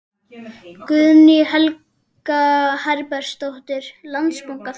Guðný Helga Herbertsdóttir: Landsbankann þá?